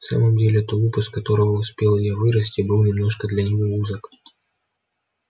в самом деле тулуп из которого успел и я вырасти был немножко для него узок